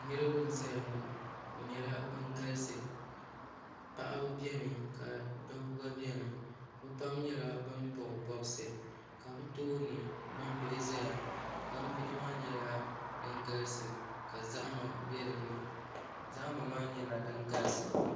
Niraba n ʒɛya ŋɔ bi nyɛla bin galisi paɣaba biɛni ka dabba gba biɛni bi pam nyɛla bin bob bobsi ka bi tooni gbambihi ʒɛya gbambihi maa nyɛla din galisi ka zahama bɛ dinni zahama maa nyɛla din galisi